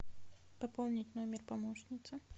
пополнить номер помощницы